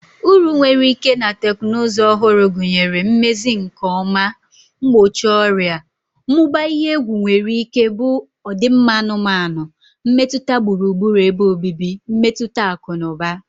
Uru nwere ike na teknụzụ ọhụrụ gụnyere, Mmezi nke ọma, Mgbochi ọrịa, Mmụba ihe egwu nwere ike bụ ọdịmma anụmanụ, mmetụta gburugburu ebe obibi, mmetụta akụ na ụba.